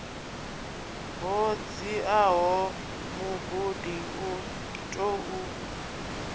ho dziaho mugudi u tou